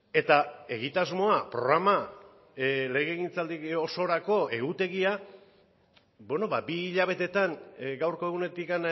eta egitasmoa programa legegintzaldi osorako egutegia bi hilabetetan gaurko egunetik